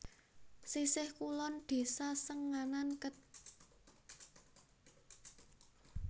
Sisih kulon Desa Senganan Kec